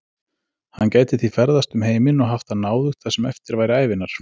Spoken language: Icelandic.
Hann gæti því ferðast um heiminn og haft það náðugt það sem eftir væri ævinnar.